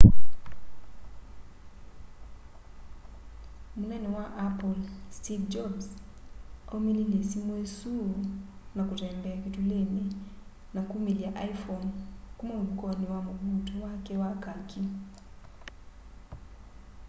munene wa apple steve jobs aumililye simu isu na kutembea kitulini na kumilya iphone kuma mfukoni wa mvuuto wake wa kaki